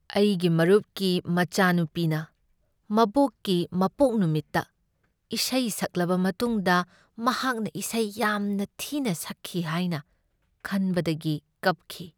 ꯑꯩꯒꯤ ꯃꯔꯨꯞꯀꯤ ꯃꯆꯥꯅꯨꯄꯤꯅ ꯃꯕꯣꯛꯀꯤ ꯃꯄꯣꯛ ꯅꯨꯃꯤꯠꯇ ꯏꯁꯩ ꯁꯛꯂꯕ ꯃꯇꯨꯡꯗ ꯃꯍꯥꯛꯅ ꯏꯁꯩ ꯌꯥꯝꯅ ꯊꯤꯅ ꯁꯛꯈꯤ ꯍꯥꯏꯅ ꯈꯟꯕꯗꯒꯤ ꯀꯞꯈꯤ ꯫